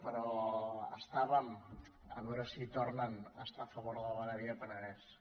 però estàvem a veure si hi tornen a estar a favor de la vegueria penedès